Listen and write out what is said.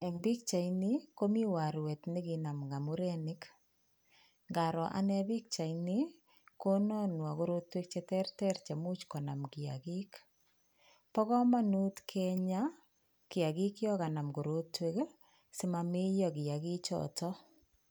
Eng pikchaini komi warwet nekinam ngamurenik ngaroo anee pikchaini ni kononwo korotinwek cheterter chemuch konam kiyakik bo komonut kenyaa kiyakik yo kanam korotwek simameyo kiyakichito.